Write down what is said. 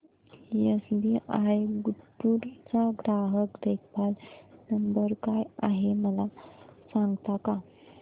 SBI Guntur चा ग्राहक देखभाल नंबर काय आहे मला सांगता का